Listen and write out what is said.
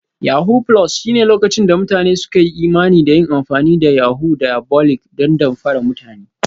Yahoo+ shine lokacin da mutane suka yi imani da yin amfani da hanyoyin diabolic don damfara mutane